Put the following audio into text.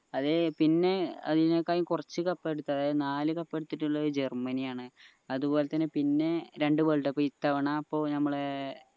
അതെ പിന്നെ അതിനേക്കാൾ കുറച്ച് cup എടുത്ത അതായത് നാല് cup എടുത്തിട്ടുള്ളത് ജർമ്മനി ആണ് അതുപോലെതന്നെ പിന്നെ രണ്ട് world cup ഇത്തവണ ഇപ്പൊ ഞമ്മളെ